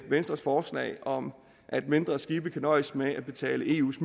venstres forslag om at mindre skibe kan nøjes med at betale eus